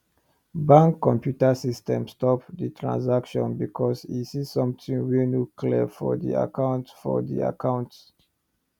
bank computer system stop the transaction because e see something wey no clear for the account for the account